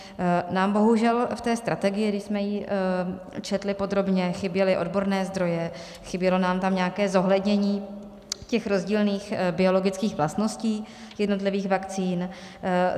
Nám bohužel v té strategii, když jsme ji četli podrobně, chyběly odborné zdroje, chybělo nám tam nějaké zohlednění těch rozdílných biologických vlastností jednotlivých vakcín.